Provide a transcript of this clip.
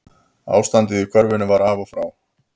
Ástandið í körfunni var af og frá